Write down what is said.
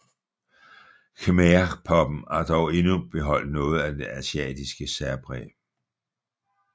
Khmerpoppen har dog endnu beholdt noget af det asiatiske særpræg